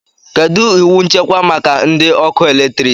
Kedu iwu nchekwa maka ndị ọkụ eletrik?